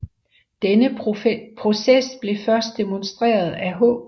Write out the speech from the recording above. Denne proces blev først demonstreret af H